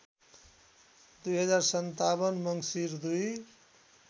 २०५७ मङ्सिर २